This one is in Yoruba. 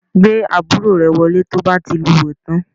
Gbé àbúrò rẹ wọlé tí o bá ti lúwẹ̀ẹ́ tán